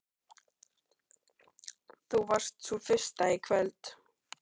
Þú varst sú fyrsta í kvöld.